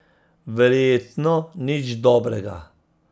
Verjetno nič dobrega.